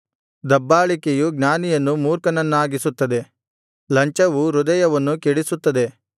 ದಬ್ಬಾಳಿಕೆಯು ಜ್ಞಾನಿಯನ್ನು ಮೂರ್ಖನನ್ನಾಗಿಸುತ್ತದೆ ಲಂಚವು ಹೃದಯವನ್ನು ಕೆಡಿಸುತ್ತದೆ